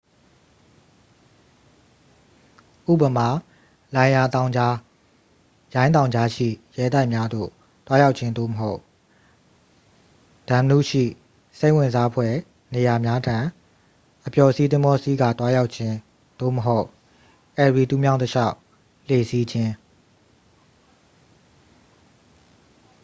ဥပမာ လိုင်ရာ တောင်ကြား ရိုင်း တောင်ကြားရှိရဲတိုက်များသို့သွားရောက်ခြင်း သို့မဟုတ် danube ရှိ စိတ်ဝင်စားဖွယ်နေရာများထံ အပျော်စီးသင်္ဘောစီးကာသွားရောက်ခြင်း သို့မဟုတ် erie တူးမြောင်းတစ်လျှောက် လှေစီးခြင်း